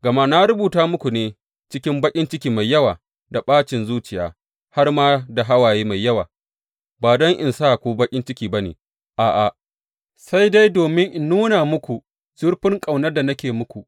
Gama na rubuta muku ne cikin baƙin ciki mai yawa da ɓacin zuciya har ma da hawaye mai yawa, ba don in sa ku baƙin ciki ba ne, a’a, sai dai domin in nuna muku zurfin ƙaunar da nake yi muku.